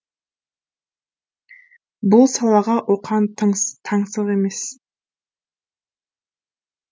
бұл салаға оқан таңсық емес